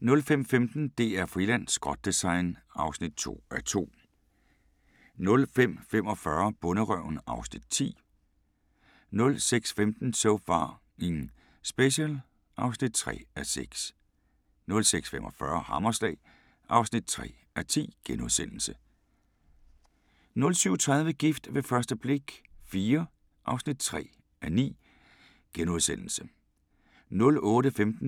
05:15: DR-Friland: Skrot-design (2:2) 05:45: Bonderøven (Afs. 10) 06:15: So F***ing Special (3:6) 06:45: Hammerslag (3:10)* 07:30: Gift ved første blik – IV (3:9)* 08:15: